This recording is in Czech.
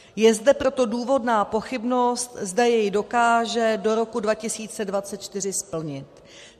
Je zde proto důvodná pochybnost, zda jej dokáže do roku 2024 splnit.